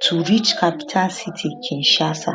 to reach capital city kinshasa